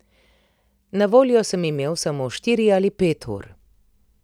Na voljo sem imel samo štiri ali pet ur.